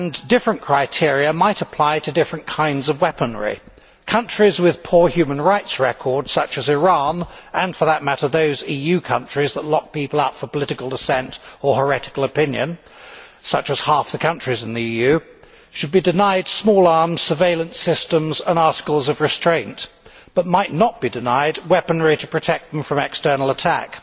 Different criteria might apply to different kinds of weaponry. Countries with poor human rights records such as Iran and, for that matter, those EU countries that lock people up for political dissent or heretical opinion, such as half the countries in the EU should be denied small arms, surveillance systems and articles of restraint, but might not be denied weaponry to protect them from external attack.